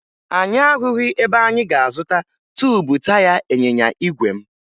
Anyị ahụghị ebe anyị ga-azụta tuubu taya ịnyịnya igwe m